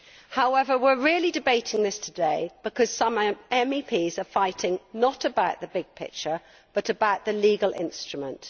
However, we are really debating this today because some MEPs are fighting not about the big picture, but about the legal instrument.